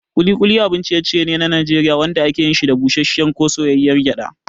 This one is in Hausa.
Ƙuli ƙuli abin ciye-ciye ne na Najeriya wanda ake yin shi da busasshiyar ko soyayyar gyada.